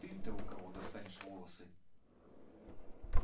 ты-то у кого достанешь волосы